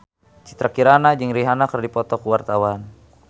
Citra Kirana jeung Rihanna keur dipoto ku wartawan